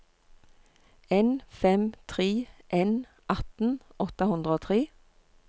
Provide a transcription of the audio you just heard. en fem tre en atten åtte hundre og tre